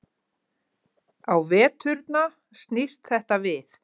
Á veturna snýst þetta við.